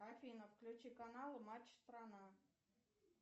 афина включи канал матч страна